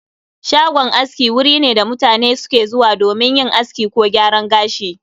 Shagon aski wuri ne da mutane suke zuwa domin yin aski ko gyaran gashi